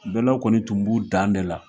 Bɛlaw kɔni tun b'u dan ne la